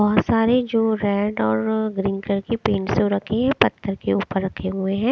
बोहोत सारे जो रेड और अ ग्रीन कलर के रखे है और पत्थर के ऊपर रखे हुए हैं।